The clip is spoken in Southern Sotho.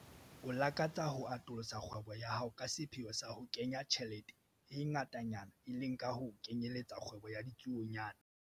O lakatsa ho atolosa kgwebo ya hao ka sepheo sa ho kenya tjhelete e ngatanyana, e leng ka ho kenyelletsa kgwebo ya ditsuonyana.